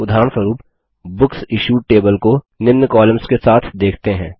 उदाहरणस्वरुप book issued table को निम्न कॉलम्स के साथ देखते हैं